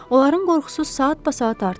Onların qorxusu saatbasaat artırdı.